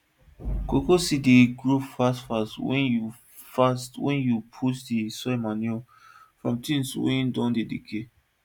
cocoa seed dey grow fast fast wen you fast wen you put d soil manure from things wey don decay